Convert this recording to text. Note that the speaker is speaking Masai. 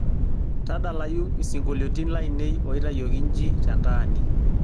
tadalayu isingolioitin lainei oitayioki nji tentaani